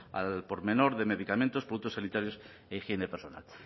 al por menor de medicamentos productos sanitarios e higiene personal